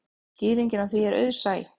Skýringin á því er auðsæ.